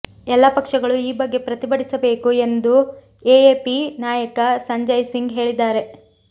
ಎಲ್ಲ ಪಕ್ಷಗಳು ಈ ಬಗ್ಗೆ ಪ್ರತಿಭಟಿಸಬೇಕು ಎಂದು ಎಎಪಿ ನಾಯಕ ಸಂಜಯ್ ಸಿಂಗ್ ಹೇಳಿದ್ದಾರೆ